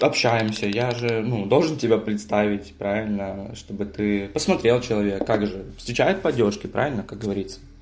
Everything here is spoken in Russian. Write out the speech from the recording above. общаемся я же ну должен тебя представить правильно чтобы ты посмотрел человек как же встречают по одёжке правильно как говорится